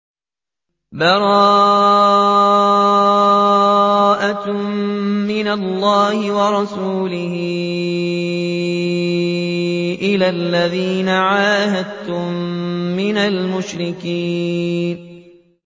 بَرَاءَةٌ مِّنَ اللَّهِ وَرَسُولِهِ إِلَى الَّذِينَ عَاهَدتُّم مِّنَ الْمُشْرِكِينَ